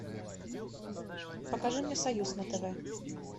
покажи мне союз на тв